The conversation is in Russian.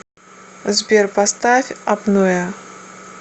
сбер поставь апноэ